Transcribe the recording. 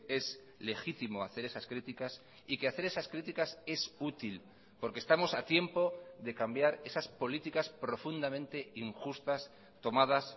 es legítimo hacer esas críticas y que hacer esas críticas es útil porque estamos a tiempo de cambiar esas políticas profundamente injustas tomadas